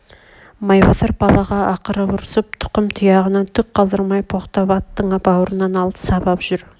майбасар балаға ақырып ұрысып тұқым-тұяғынан түк қалдырмай боқтап аттың бауырынан алып сабап жүр